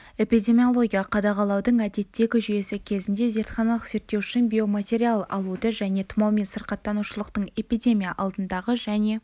эпидемиологиялық қадағалаудың әдеттегі жүйесі кезінде зертханалық зерттеу үшін биоматериал алуды және тұмаумен сырқаттанушылықтың эпидемия алдындағы және